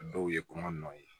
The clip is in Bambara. Dɔw ye kɔngɔ nɔ ye